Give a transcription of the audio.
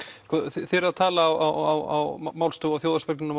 þið eruð að tala á málstofunni